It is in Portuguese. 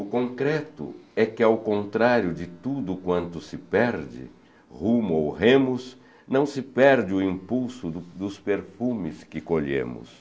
O concreto é que, ao contrário de tudo o quanto se perde, rumo ou remos, não se perde o impulso do dos perfumes que colhemos.